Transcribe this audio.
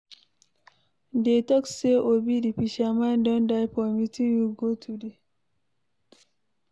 Dey talk say Obi the fisherman don die for meeting we go today